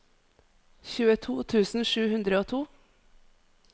tjueto tusen sju hundre og to